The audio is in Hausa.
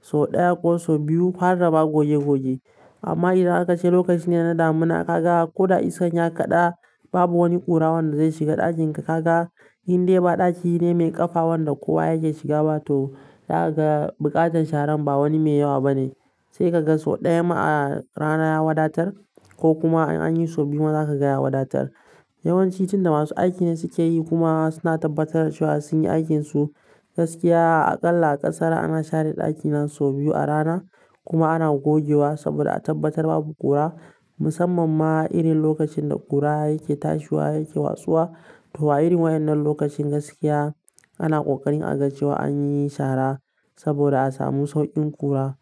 so ɗaya ko so biyu har dama goje-goje. Amma idan aka ce lokaci ne na damina kaga l ko da iskan ya kaɗa babu wani ƙura wanda zai shiga ɗakin ka, ka ga inde ba ɗaki ne mai ƙafa wanda kowa yake shiga ba to za kaga buƙatar sharan ba wani mai yawa bane. Sai ka ga so ɗaya ma a rana ya wadatar ko kuma in an yi so biyu ma zaka gaya wadatar. Yawanci tunda masu aiki ne suke yi kuma suna tabbatar da cewa sun yi aikin su, gaskiya aƙalla a ƙasar ana share ɗaki nan so biyu a rana kuma ana gogewa saboda a tabbatar babu ƙura. Musamman ma irin lokacin da ƙura yake tashiwa yake wasuwa. To a irin waɗannan lokacin gaskiya ana ƙoƙarin a ga cewa an yi shara saboda a samu sauƙin ƙura.